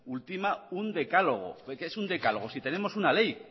ultima un decálogo qué es un decálogo si tenemos una ley